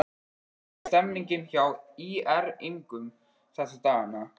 Hvernig er stemningin hjá ÍR-ingum þessa dagana?